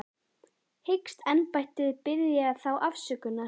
Hyggst embættið biðja þá afsökunar?